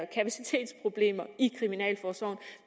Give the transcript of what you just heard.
kapacitetsproblemer i kriminalforsorgen